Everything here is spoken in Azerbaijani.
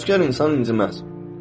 Təvəkkülkar insan inciməz.